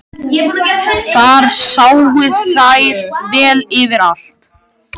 Þar sáu þær vel yfir allt.